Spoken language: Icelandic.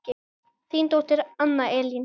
Þín dóttir Anna Elín.